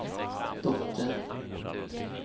dotter